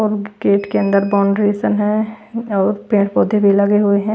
और गेट के अंदर बौंड्रेशन है और पेड़ पौधे भी लगे हुए हैं।